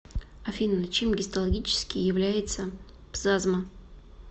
афина чем гистологически является пзазма